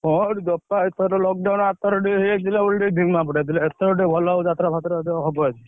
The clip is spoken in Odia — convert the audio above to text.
ହଁ, ଏଥର lockdown ଆରଥରକ ଟିକେ ହେଇଯାଇଥିଲା ବୋଲି ଟିକେ ଧିମା ପଡ଼ିଯାଇଥିଲା। ଏଥର ଟିକେ ଭଲ ହବ ଯାତରା ଫାତରା ହବ ଆଜି।